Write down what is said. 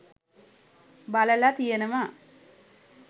බලලා තියෙනවා.